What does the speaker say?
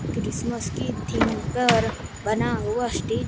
Christmas की theme पर बना हुआ स्टी--